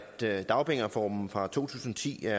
siger